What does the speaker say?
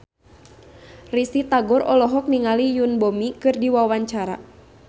Risty Tagor olohok ningali Yoon Bomi keur diwawancara